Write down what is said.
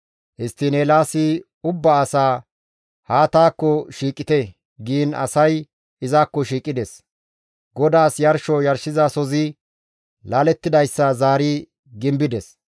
Histtiin Eelaasi ubba asaas, «Haa taakko shiiqite» giin asay izakko shiiqides; GODAASSI yarsho yarshizasozi laalettidayssa zaari gimbides.